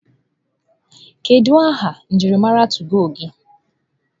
Kedu aha njirimara tụgo gị?